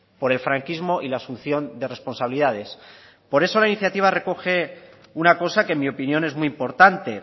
por el franquismo y la asunción de responsabilidades por eso la iniciativa recoge una cosa que en mi opinión es muy importante